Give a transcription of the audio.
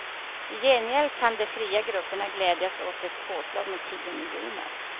I gengäld kan de fria grupperna glädjas åt ett påslag med tio miljoner.